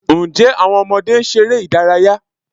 Ǹjẹ́ àwọn ọmọdé ń ṣeré ìdárayá?